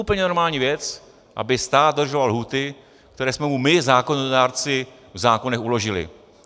Úplně normální věc, aby stát dodržoval lhůty, které jsme mu my zákonodárci v zákonech uložili.